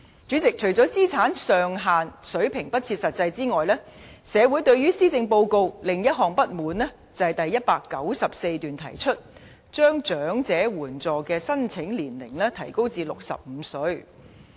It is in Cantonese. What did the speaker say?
主席，除了資產上限水平不切實際外，社會對施政報告的另一項不滿，是第194段提出將領取長者綜援的合資格年齡提高至65歲。